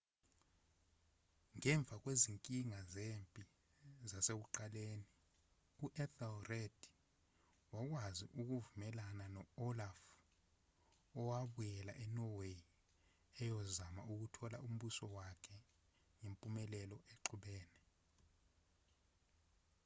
ngemva kwezinkinga zempi zasekuqaleni u-ethelred wakwazi ukuvumelana no-olaf owabuyela e-norway eyozama ukuthola umbuso wakhe ngempumelelo exubene